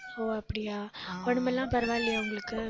ஓ அப்படியா உடம்பெல்லாம் பரவாயில்லையா உங்களுக்கு